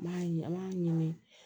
N m'a ye an b'a ɲini